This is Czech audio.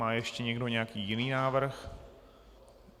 Má ještě někdo nějaký jiný návrh?